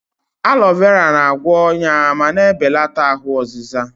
Aloe vera na-agwọ ọnya ma na-ebelata ahụ ọzịza.